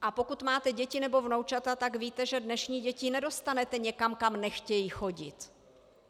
A pokud máte děti nebo vnoučata, tak víte, že dnešní děti nedostanete někam, kam nechtějí chodit.